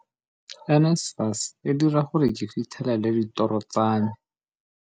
NSFAS e dira gore ke fitlhelele ditoro tsa me.